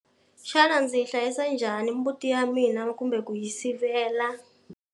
Xana ndzi yi hlayisa njhani mbuti ya mina kumbe ku yi sivela?